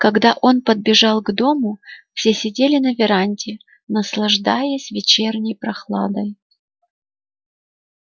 когда он подбежал к дому все сидели на веранде наслаждаясь вечерней прохладой